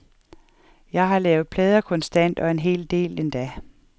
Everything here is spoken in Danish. Jeg har lavet plader konstant, en hel del endda.